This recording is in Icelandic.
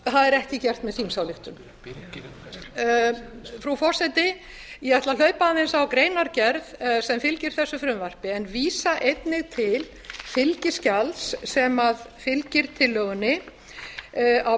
að er ekki gert með þingsályktun frú forseti ég ætla að hlaupa aðeins á greinargerð sem fylgir þessu frumvarpi en vísa einnig til fylgiskjals sem fylgir tillögunni á